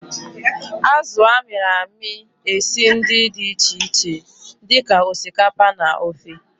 Azụ a mịrị amị esi ndi di iche iche di ka osikapa na ofe.